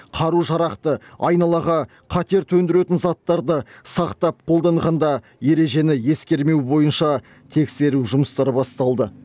қару жарақты айналаға қатер төндіретін заттарды сақтап қолданғанда ережені ескермеу бойынша тексеру жұмыстары басталды